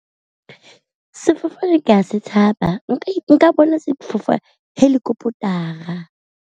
sefofane ke a se tshaba nka bona helicopter-a.